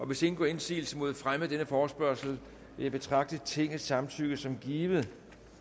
hvis ingen gør indsigelse mod fremme af denne forespørgsel vil jeg betragte tingets samtykke som givet